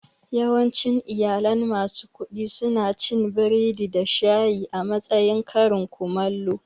Yawancin iyalan masu kuɗi suna cin biredi da shayi a matsayin karin komallo